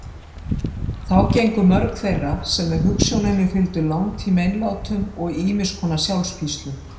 Þá gengu mörg þeirra sem hugsjóninni fylgdu langt í meinlátum og ýmiss konar sjálfspíslum.